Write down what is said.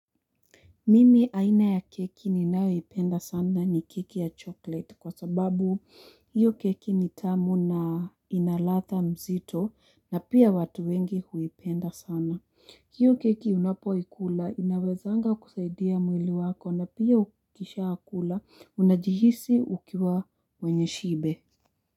Mimi aina ya keki ninayo ipenda sana ni keki ya chocolete, kwa sababu hiyo keki ni tamu na ina latha mzito na pia watu wengi huipenda sana. Hiyo keki unapo ikula inawezanga kusaidia mwili wako na pia ukisha kula unajihisi ukiwa mwenye shibe.